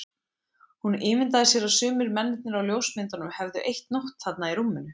Hún ímyndaði sér að sumir mennirnir á ljósmyndunum hefðu eytt nótt þarna í rúminu.